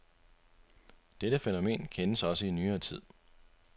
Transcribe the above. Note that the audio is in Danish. Dette fænomen kendes også i nyere tid.